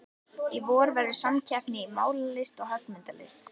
Í vor verður hér samkeppni í málaralist og höggmyndalist.